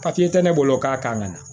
Papiye tɛ ne bolo k'a k'a nana